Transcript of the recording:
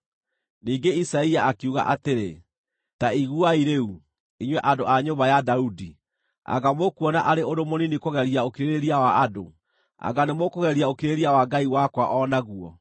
Ningĩ Isaia akiuga atĩrĩ, “Ta iguai rĩu, inyuĩ andũ a nyũmba ya Daudi! Anga mũkuona arĩ ũndũ mũnini kũgeria ũkirĩrĩria wa andũ? Anga nĩmũũkũgeria ũkirĩrĩria wa Ngai wakwa o naguo?